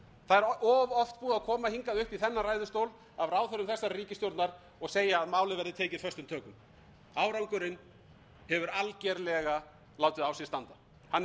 það er of oft búið að koma hingað upp í þennan ræðustól af ráðherrum þessarar ríkisstjórnar og segja að málið verði tekið föstum tökum árangurinn hefur algerlega látið á sér standa hann er